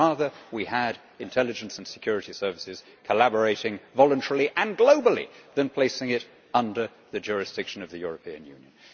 I would rather we had intelligence and security services collaborating voluntarily and globally than placing such collaboration under the jurisdiction of the European Union.